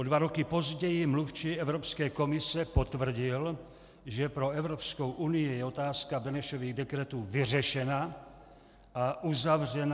O dva roky později mluvčí Evropské komise potvrdil, že pro Evropskou unii je otázka Benešových dekretů vyřešena a uzavřena.